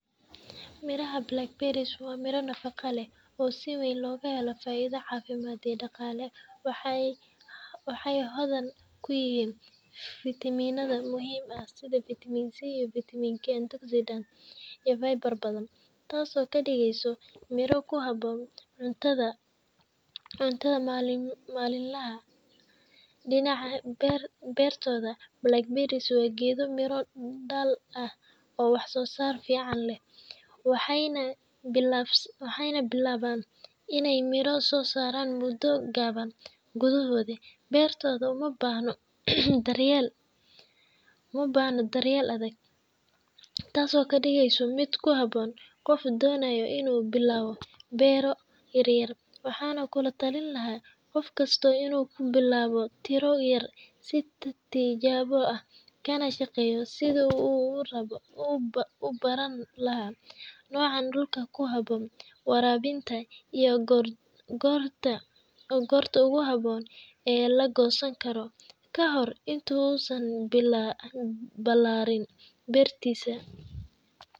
Biraha black harosoh wa miro nafaca la oo si waan loga halo faido cafimad iyo daqali waxay waxay hodan ku yihin viminada muhiim ah side vitiman c iyo vitiman k an togsimka iyo viber baadan taas oo ka digasho miro ku habon cuntada , malin lahah , dinac bartoda balck barsob wa gado miro dal ah oo wax sosar fican lah waxay naa waxay na bilawan inay miro sosaran mudo gawan gudohoda bartoda umabahno, daryal uma bahno daryal adag, taas oo ka digsoh mid ku habon qof donayo inu bilawo baro yar waxna kula talini lahay qofkasto inu ku bilawo tira yar si tijawo ah kana shaqayo sidu u rabo ubarani lahay nocan dulka ku habon warabinta iyo gorta gorta ogu habon laa lago sanigaro, ka hore intu usan bilarin bartisa.